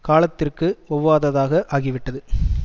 காலத்திற்கு ஒவ்வாததாக ஆகிவிட்டடது